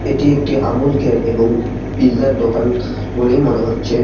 এটি একটি আমূল কেয়ার এবং পিজ্জার এর দোকান বলেই মনে হচ্ছে।